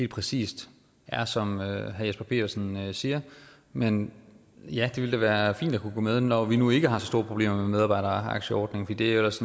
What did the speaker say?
præcis er som herre jesper petersen siger men ja det ville da være fint at kunne gå med når vi nu ikke har så store problemer med medarbejderaktieordningen det er jo ellers